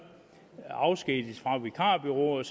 afskediges fra vikarbureauet